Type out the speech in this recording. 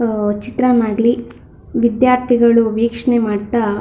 ಚಿತ್ರಾ ಮಾಡ್ಲಿ ವಿದ್ಯಾರ್ಥಿಗಳಿಗೆ ವೀಕ್ಷಣೆ ಮಾಡ್ತಾ--